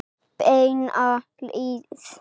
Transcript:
Beina leið.